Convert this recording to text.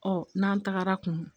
Ɔ n'an tagara kun